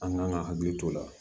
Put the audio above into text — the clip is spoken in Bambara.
An kan ka hakili to o la